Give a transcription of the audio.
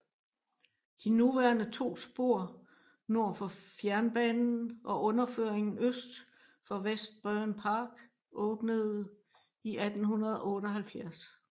De nuværende to spor nord for fjernbanen og underføringen øst for Westbourne Park åbnede i 1878